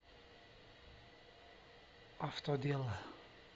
автодело